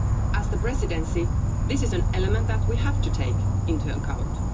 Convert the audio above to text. As the Presidency, this is an element that we have to take into account.